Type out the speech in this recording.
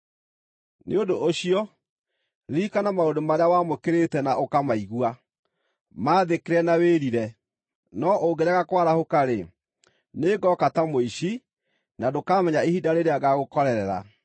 Nĩ ũndũ ũcio, ririkana maũndũ marĩa wamũkĩrĩte na ũkamaigua; maathĩkĩre na wĩrire. No ũngĩrega kwarahũka-rĩ, nĩngooka ta mũici, na ndũkamenya ihinda rĩrĩa ngaagũkorerera.